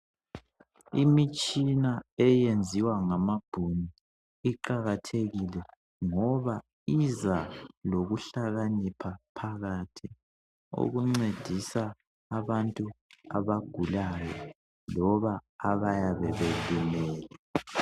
Imitshina eyenziwa ngamabhunu iqakatheli ngoba iza lokuhlakanipha phakathi okuncedisa abantu abagulayo loba abayebe belimele.